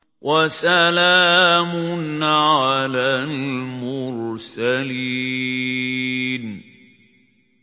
وَسَلَامٌ عَلَى الْمُرْسَلِينَ